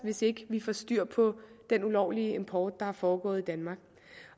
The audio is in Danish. hvis ikke vi får styr på den ulovlige import der er foregået i danmark